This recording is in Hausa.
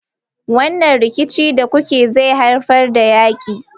Wannan rikici da kuke yi zai haifar da yaki.